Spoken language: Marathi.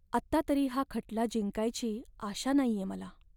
आत्ता तरी हा खटला जिंकायची आशा नाहीये मला.